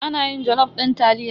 Ana yin jalof din taliya.